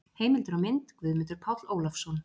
Heimildir og mynd: Guðmundur Páll Ólafsson.